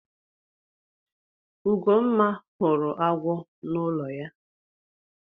Ugomma hụrụ agwọ na ụlọ ya.